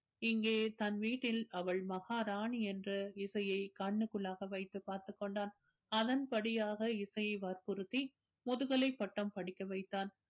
இங்கே தன் வீட்டில் அவள் மகாராணி என்ற இசையை கண்ணுக்குள்ளாக வைத்து பார்த்துக் கொண்டான் அதன்படியாக இசையை வற்புறுத்தி முதுகலை பட்டம் படிக்க வைத்தான்